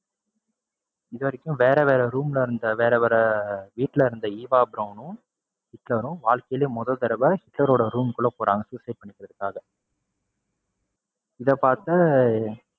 இதுவரைக்கும் வேற, வேற room ல இருந்த வேற, வேற வீட்டுல இருந்த ஈவா பிரௌனும் ஹிட்லரும் வாழ்க்கையிலையே மொத தடவ ஹீட்லரோட room குள்ள போறாங்க suicide பண்ணிக்கிறதுக்காக. இதப்பாத்த,